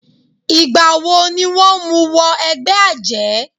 Ìgbà wọ ni wọ́n mú wọ ẹgbẹ́ àjẹ́?